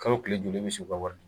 Kalo kile joli e bɛ su ka wari di.